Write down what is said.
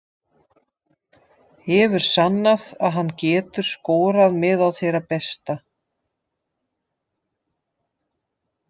Hefur sannað að hann getur skorað meðal þeirra bestu.